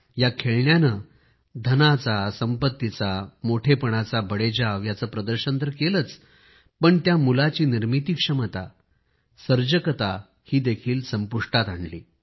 या खेळण्याने धनाचा संपत्तीचा मोठेपणाचा बडेजाव यांचे प्रदर्शन तर केलं होतंच परंतु त्या मुलाची निर्मिती क्षमता सर्जकता संपुष्टात आणली